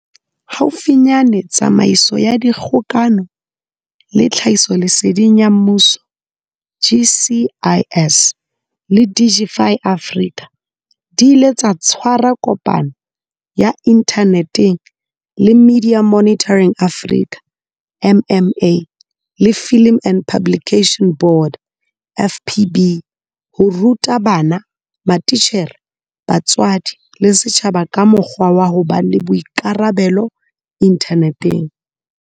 Haufinyane Tsamaiso ya Dikgokano le Tlhahisoleseding ya Mmuso GCIS le Digify Africa di ile tsa tshwara kopano ya inthaneteng le Media Monitoring Africa MMA le Film and Publication Board FPB ho ruta bana, matitjhere, batswadi le setjhaba ka mokgwa wa ho ba le boikarabelo inthaneteng.